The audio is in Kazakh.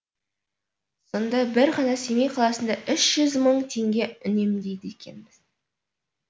сонда бір ғана семей қаласында үш жүз мың теңге үнемдейді екенбіз